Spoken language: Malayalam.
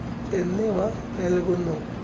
എന്നിവ നൽകുന്നു.